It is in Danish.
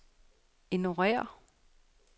ignorér